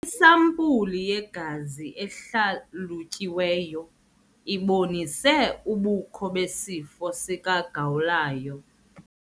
Isampuli yegazi ehlalutyiweyo ibonise ubukho besifo sikagawulayo.